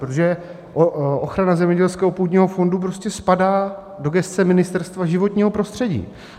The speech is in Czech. Protože ochrana zemědělského původního fondu prostě spadá do gesce Ministerstva životního prostředí.